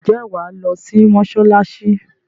Ǹjẹ́ wa lọ sí mọsalasi